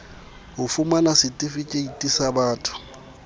ho fumana setifikeiti sa botho